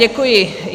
Děkuji.